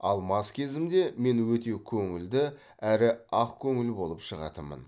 ал мас кезімде мен өте көңілді әрі ақкөңіл болып шығатынмын